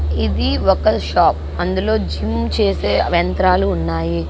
ఇది ఒక షాప్ . అందులో జిమ్ చేసే యంత్రాలు ఉన్నాయి .